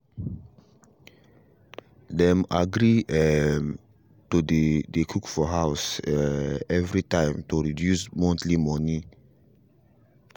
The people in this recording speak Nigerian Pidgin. dem agree um to dey dey cook for house um every time to reduce monthly money um